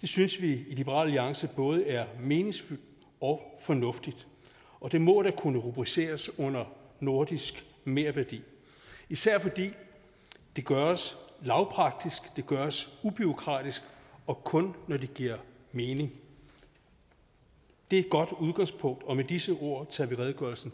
det synes vi i liberal alliance både er meningsfuldt og fornuftigt det må da kunne rubriceres under nordisk merværdi især fordi det gøres lavpraktisk og det gøres ubureaukratisk og kun når det giver mening det er et godt udgangspunkt og med disse ord tager vi redegørelsen